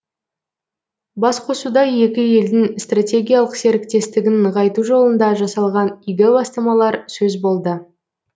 басқосуда екі елдің стратегиялық серіктестігін нығайту жолында жасалған игі бастамалар сөз болды